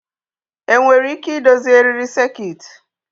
Enwere ike idozi eriri sekit?